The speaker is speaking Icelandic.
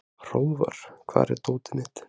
Hróðvar, hvar er dótið mitt?